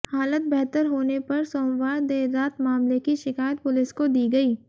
हालत बेहतर होने पर सोमवार देर रात मामले की शिकायत पुलिस को दी गई